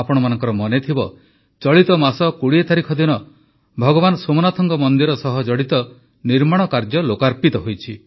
ଆପଣମାନଙ୍କର ମନେଥିବ ଚଳିତ ମାସ ୨୦ ତାରିଖ ଦିନ ଭଗବାନ ସୋମନାଥଙ୍କ ମନ୍ଦିର ସହ ଜଡ଼ିତ ନିର୍ମାଣ କାର୍ଯ୍ୟ ଲୋକାର୍ପିତ ହୋଇଛି